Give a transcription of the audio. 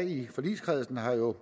i forligskredsen har jo